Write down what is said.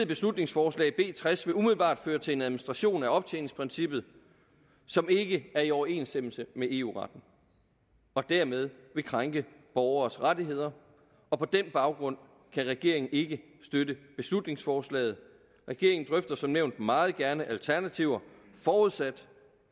beslutningsforslag b tres vil umiddelbart føre til en administration af optjeningsprincippet som ikke er i overenstemmelse med eu retten og dermed vil krænke borgeres rettigheder og på den baggrund kan regeringen ikke støtte beslutningsforslaget regeringen drøfter som nævnt meget gerne alternativer forudsat